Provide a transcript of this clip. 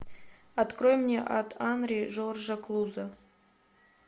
открой мне ад анри жоржа клузо